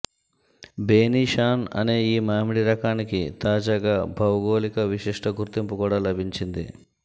బేనీషాన్ అనే ఈ మామిడి రకానికి తాజాగా భౌగోళిక విశిష్ట గుర్తింపు కూడా లభించింది